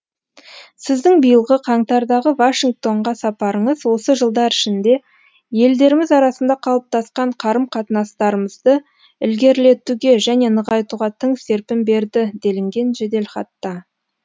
сіздің биылғы қаңтардағы вашингтонға сапарыңыз осы жылдар ішінде елдеріміз арасында қалыптасқан қарым қатынастарымызды ілгерілетуге және нығайтуға тың серпін берді делінген жеделхатта